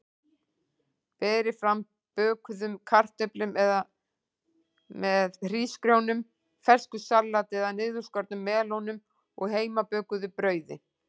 Berið fram með bökuðum kartöflum eða hrísgrjónum, fersku salati eða niðurskornum melónum og heimabökuðu brauði.